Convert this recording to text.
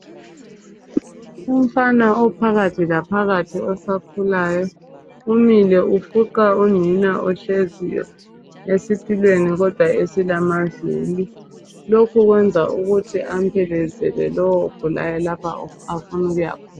Umfana ophakathi laphakathi osakhulayo umile ufuqa unina ohleziyo esitulweni kodwa esilamavili. Lokhu kwenza ukuthi amphelekezele lo ogulayo la afuna ukuya khona.